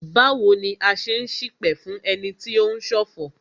Báwo ni a ṣe n ṣipẹ̀ fún ẹni tí o ń ṣọ̀fọ̀?